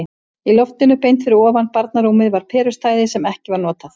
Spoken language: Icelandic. Í loftinu beint fyrir ofan barnarúmið var perustæði sem ekki var notað.